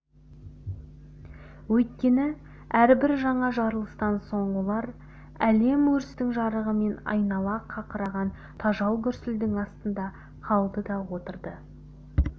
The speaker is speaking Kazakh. өйткені әрбір жаңа жарылыстан соң олар әлем өрттің жарығы мен айнала қақыраған тажал гүрсілдің астында қалды да отырды